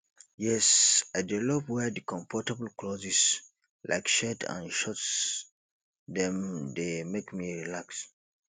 yes i dey love wear di comfortable clothes like tshirt and shorts dem dey make me relax